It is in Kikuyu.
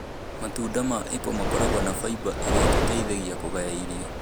Matunda ma epo makoragwo na fiber iria itũteithagia kũgaya irio.